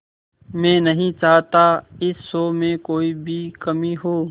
मैं नहीं चाहता इस शो में कोई भी कमी हो